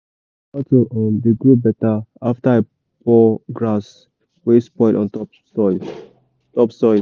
my tomato um dey grow better after i pour grass wey spoil on top soil. top soil.